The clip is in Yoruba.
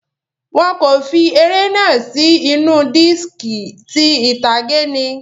Wọn kò fi eré náà sì inú diski, ti ìtàgé ni.